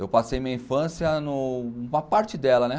Eu passei minha infância numa parte dela, né?